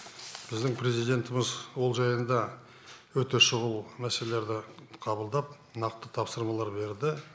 біздің президентіміз ол жайында өте шұғыл мәселелерді қабылдап нақты тапсырмалар берді